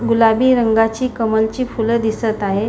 गुलाबी रंगाची कमल ची फूल दिसत आहे.